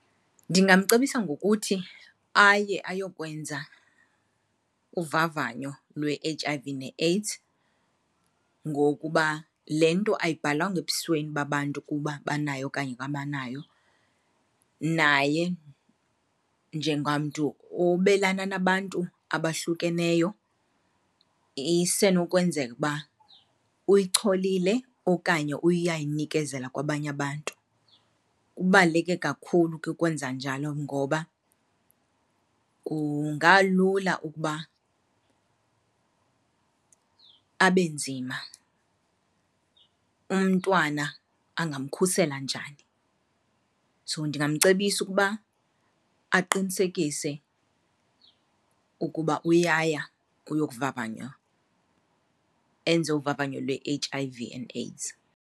Ndingamcebisa ngokuthi aye ayokwenza uvavanyo lwe-H_I_V ne-AIDS ngokuba le nto ayibhalwanga ebusweni babantu ukuba banayo okanye abanayo, naye njengamntu obelana nabantu abahlukeneyo isenokwenzeka ukuba uyicholile okanye uyayinikezela kwabanye abantu. Kubaluleke kakhulu ke ukwenza njalo ngoba kungalula ukuba abe nzima. Umntwana angamkhusela njani? So ndingamcebisa ukuba aqinisekise ukuba uyaya ukuyokuvavanywa, enze uvavanyo lwe-H_I_V and AIDS.